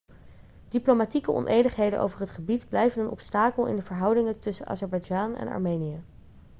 diplomatieke onenigheden over het gebied blijven een obstakel in de verhoudingen tussen azerbeidzjan en armenië